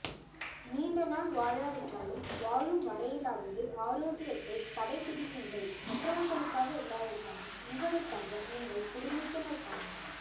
நீண்ட நாள் வாழாவிட்டாலும் வாழும் வரையிலாவது ஆரோக்கியத்தை கடைபிடியுங்கள் மற்றவர்களுக்காக இல்லாவிட்டாலும் உங்களுக்காக உங்கள் குடும்பத்தினருக்காக